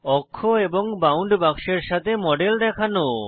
অক্ষ এবং বাউন্ড বাক্সের সাথে মডেল দেখানো